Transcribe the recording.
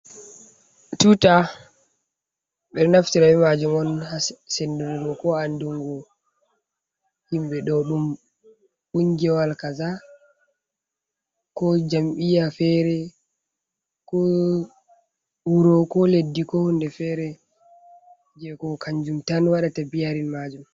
Tuta beɗo naftir be majum on ha sendurgo ko anɗungo. Himbe ɗo ɗum kungiwawal kasa. Ko jamiya fere. ko wuro, ko leɗɗi, ko hunɗe fere. Je ko kanjum tan waɗata biyarin majum.